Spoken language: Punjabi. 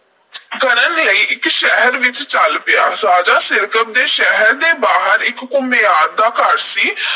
ਕਰਨ ਲਈ ਇਕ ਸ਼ਹਿਰ ਵਲ ਚਲ ਪਿਆ। ਰਾਜਾ ਸਿਰਕੱਪ ਦੇ ਸ਼ਹਿਰ ਦੇ ਬਾਹਰ ਇਕ ਘੁਮਿਆਰ ਦਾ ਘਰ ਸੀ।